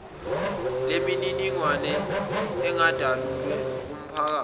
lemininingwane ingedalulwe kumphakathi